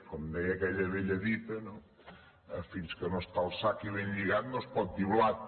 com deia aquella vella dita no fins que no està al sac i ben lligat no es pot dir blat